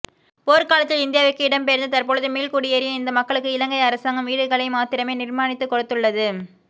போர்க் காலத்தில் இந்தியாவிற்கு இடம்பெயர்ந்து தற்பொழுது மீள்குடியேறிய இந்த மக்களுக்கு இலங்கை அரசாங்கம் வீடுகளை மாத்திரமே நிர்மானித்துக் கொடுத்துள்ளது